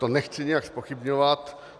To nechci nijak zpochybňovat.